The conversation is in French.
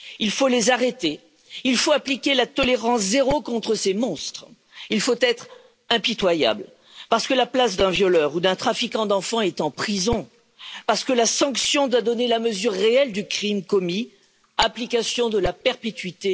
Il faut les arrêter, il faut appliquer la tolérance zéro contre ces monstres, il faut être impitoyable, parce que la place d'un violeur ou d'un trafiquant d'enfants est en prison, parce que la sanction doit donner la mesure réelle du crime commis application de la perpétuité.